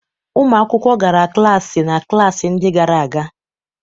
Ụmụ akwụkwọ gara klaasị na klaasị ndị gara aga.